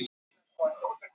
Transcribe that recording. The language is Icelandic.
Áfram Ísland bara.